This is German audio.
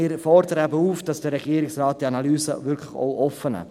Wir fordern den Regierungsrat auf, diese Analyse wirklich auch offen zu machen.